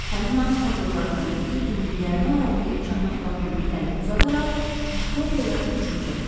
Həmin an kondorlardan biri dimdiyini aralayıb caynaqlarını irəli uzadaraq Viktoriya hücum çəkdi.